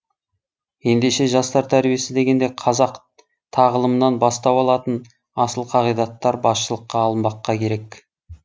ендеше жастар тәрбиесі дегенде қазақ тағылымынан бастау алатын асыл қағидаттар басшылыққа алынбаққа керек